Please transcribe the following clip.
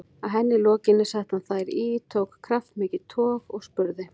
Að henni lokinni setti hann þær í, tók kraftmikið tog og spurði